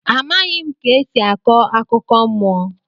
Amaghị ka esi akọ akụkọ mmụọ.